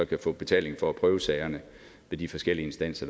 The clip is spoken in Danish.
kan få betaling for at prøve sagerne ved de forskellige instanser